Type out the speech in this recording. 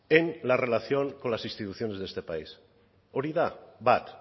en la relación con las instituciones de este país hori da bat